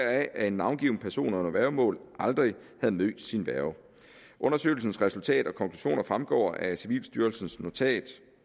at en navngiven person under værgemål aldrig havde mødt sin værge undersøgelsens resultater og konklusioner fremgår af civilstyrelsens notat